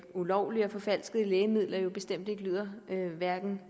ulovlige og forfalskede lægemidler bestemt hverken